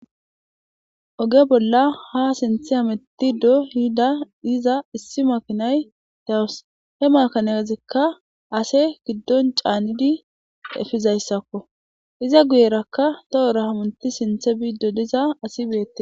Oge bolla ha sinthe amettido hiida yiza issi makinay dawus he makanezekka ase giddon caanidi efizayssakko iza guyerakka tohora hamunti sinthe biiddo diza asi beettes.